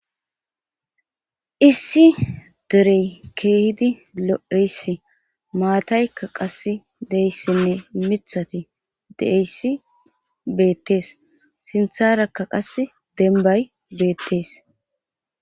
Issi derey keehidi lo7eyssi maataykka qas deyssinne mithati deeyssi beettees sintharakka qas denbay beettees.